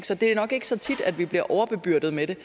så det er nok ikke så tit at vi bliver overbebyrdet med det